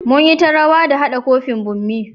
Mu yi ta rawa da hada cufin bommi.